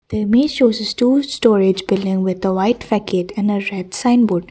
the image shows a store storage building with white facade and a red sign board.